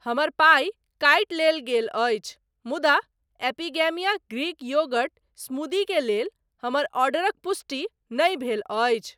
हमर पाइ काटि लेल गेल अछि मुदा एपिगेमीया ग्रीक योगर्ट स्मूदी के लेल हमर ऑर्डरक पुष्टि नहि भेल अछि।